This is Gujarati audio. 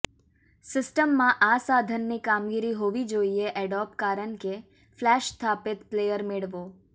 સિસ્ટમમાં આ સાધન ની કામગીરી હોવી જોઇએ એડોબ કારણ કે ફ્લેશ સ્થાપિત પ્લેયર મેળવો